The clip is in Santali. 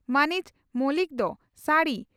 ᱢᱟᱹᱱᱤᱡ ᱢᱚᱞᱤᱠ ᱫᱚ ᱥᱟᱹᱲᱤ